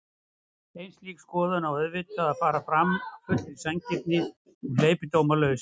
En slík skoðun á auðvitað að fara fram af fullri sanngirni og hleypidómalaust.